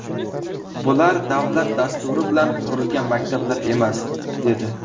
Bular davlat dasturi bilan qurilgan maktablar emas”, dedi .